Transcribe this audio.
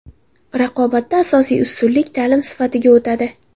Raqobatda asosiy ustunlik ta’lim sifatiga o‘tadi.